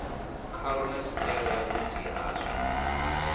khalo na tshitaila vhunzhi hazwo